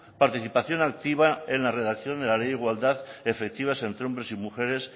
participación activa en la redacción de la ley de igualdad efectiva entre hombres y mujeres